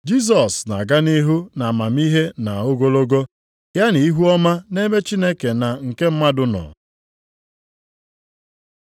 Jisọs na-aga nʼihu nʼamamihe na ogologo, ya na ihuọma nʼebe Chineke na nke mmadụ nọ.